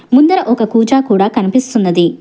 ముందర ఒక కూచా కూడా కనిపిస్తున్నది.